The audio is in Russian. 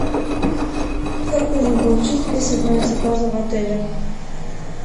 как можно получить список моих заказов в отеле